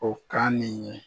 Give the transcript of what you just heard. O kan nin ye.